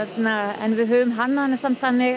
en við höfum hannað hana þannig